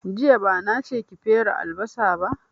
Jiya bana che ki fere albasa ba